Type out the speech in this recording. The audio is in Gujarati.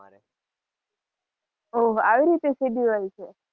ઓહ આવી રીતે schedule છે.